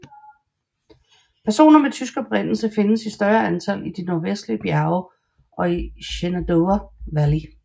Personer med tysk oprindelse findes i større antal i de nordvestlige bjerge og i Shenandoah Valley